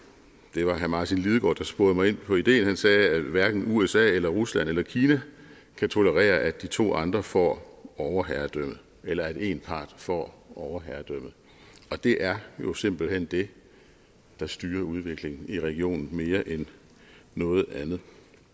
det var herre martin lidegaard der sporede mig ind på ideen da han sagde at hverken usa rusland eller kina kan tolerere at de to andre får overherredømmt eller at én part får overherredømmet og det er jo simpelt hen det der styrer udviklingen i regionen mere end noget andet